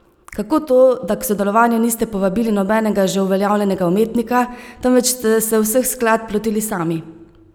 Kako to, da k sodelovanju niste povabili nobenega že uveljavljenega umetnika, temveč ste se vseh skladb lotili sami?